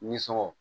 Ni sɔngɔ